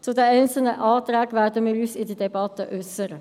Zu den einzelnen Anträgen werden wir uns in der Debatte äussern.